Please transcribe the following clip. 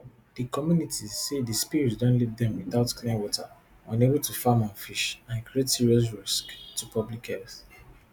di communities say di spills don leave dem without clean water unable to farm and fish and create serious risks to public health